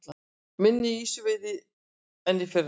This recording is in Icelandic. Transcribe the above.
Minni ýsuveiði en í fyrra